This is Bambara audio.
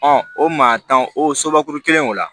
o maa tan o sobakuru kelen o la